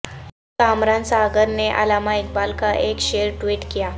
کامران ساغر نے علامہ اقبال کا ایک شعر ٹویٹ کیا